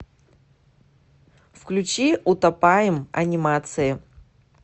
включи утопаем анимации